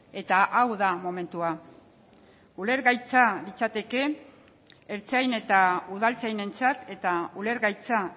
eta hau da momentua ulergaitza litzateke ertzain eta udaltzainentzat eta ulergaitza